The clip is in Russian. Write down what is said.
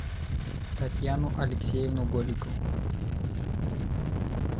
татьяну алексеевну голикову